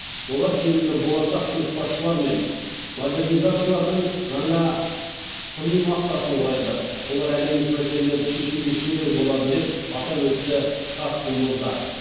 олар сенімді болашақ көшбасшылар мен модернизаторлардың жаңа сыни массасын құрайды олар әлемдік мәселелерді шешуде шебер болады деп атап өтті катсу мырза